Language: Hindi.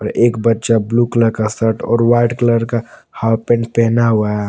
एक बच्चा ब्लू कलर का शर्ट और व्हाइट कलर का हॉफ पैंट पहना हुआ है।